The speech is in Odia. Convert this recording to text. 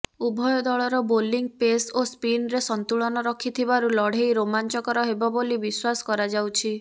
ଉଭୟ ଦଳର ବୋଲିଂ ପେସ୍ ଓ ସ୍ପିନରେ ସନ୍ତୁଳନ ରଖିଥିବାରୁ ଲଢ଼େଇ ରୋମାଞ୍ଚକର ହେବ ବୋଲି ବିଶ୍ୱାସ କରାଯାଉଛି